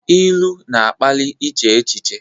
Ilu na-akpali iche echiche.